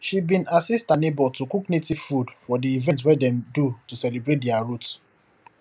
she bin assist her neighbor to cook native food for the event wey dem do to celebrate their roots